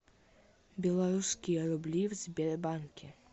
белорусские рубли в сбербанке